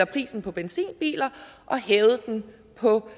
prisen på benzinbiler og hævet den på